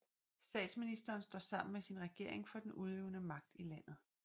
Statsministeren står sammen med sin regering for den udøvende magt i landet